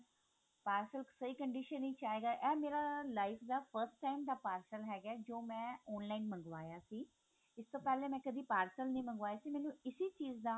parcel ਸਹੀ condition ਵਿੱਚ ਆਏਗਾ ਇਹ ਮੇਰਾ life ਦਾ first time ਦਾ parcel ਹੈਗਾ ਜੋ ਮੈਂ online ਮੰਗਵਾਇਆ ਸੀ ਇਸਤੋਂ ਪਹਿਲਾਂ ਮੈਂ ਕਦੇ parcel ਨੀ ਮੰਗਵਾਇਆ ਸੀ ਮੈਨੂੰ ਇਸੀ ਚੀਜ਼ ਦਾ